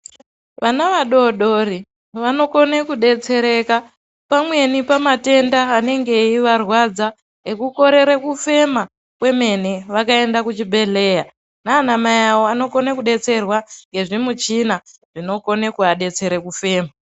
Vana vadodori vanokone kudetsereka pamweni pamatenda anenge eivarwadza ekukorere kufema kwemene, vakaende kuchibhedhlera nanamai awo anokone kudetserwa ngezvemuchina zvinokone kuadetsere kufema.